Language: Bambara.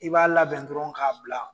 I b'a labɛn dɔrɔn k'a bila